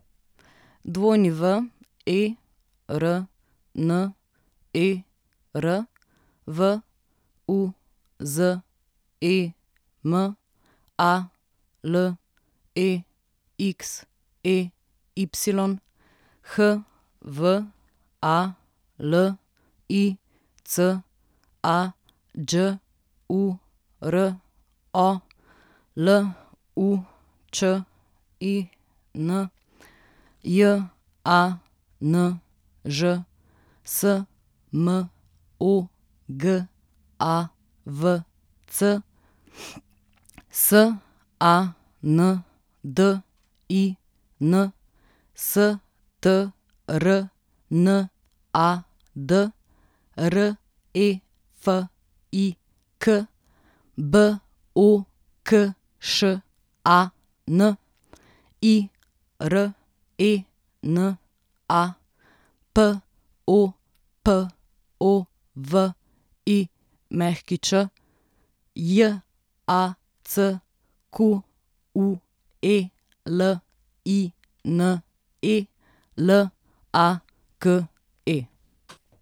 Werner Vuzem, Alexey Hvalica, Đuro Lučin, Janž Smogavc, Sandin Strnad, Refik Bokšan, Irena Popović, Jacqueline Lake.